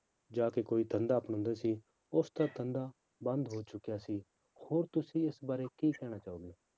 ਜਾ ਕੇ ਕੋਈ ਧੰਦਾ ਅਪਣਾਉਂਦਾ ਸੀ ਉਸਦਾ ਧੰਦਾ ਬੰਦ ਹੋ ਚੁੱਕਿਆ ਸੀ, ਹੋਰ ਤੁਸੀਂ ਇਸ ਬਾਰੇ ਕੀ ਕਹਿਣਾ ਚਾਹੋਗੇ?